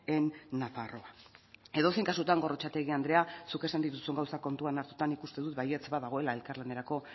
en nafarroa edozein kasutan gorrotxategi andrea zuk esan dituzun gauzak kontuan hartuta nik uste dut baietz badagoela elkarlanerako